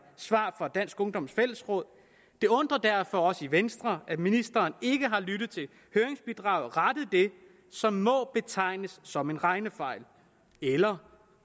svar fra dansk ungdoms fællesråd det undrer derfor os i venstre at ministeren ikke har lyttet til høringsbidraget og rettet det som må betegnes som en regnefejl eller